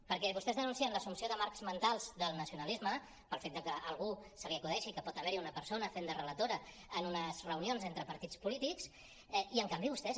perquè vostès denuncien l’assumpció de marcs mentals del nacionalisme pel fet que a algú se li acudeixi que pot haver hi una persona fent de relatora en unes reunions entre partits polítics i en canvi vostès